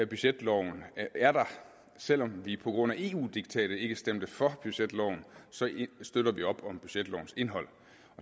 budgetloven er der selv om vi på grund af eu diktatet ikke stemte for budgetloven støtter vi op om budgetlovens indhold